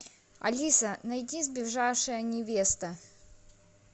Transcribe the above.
алиса найди сбежавшая невеста